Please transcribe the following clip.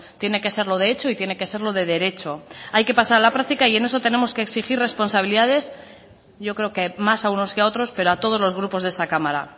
tiene que serlo de hecho y tiene que serlo de derecho hay que pasar a la práctica y en eso tenemos que exigir responsabilidades yo creo que más a unos que a otros pero a todos los grupos de esta cámara